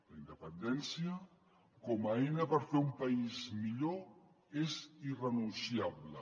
la independència com a eina per fer un país millor és irrenunciable